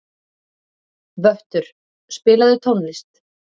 Vöttur, spilaðu tónlist.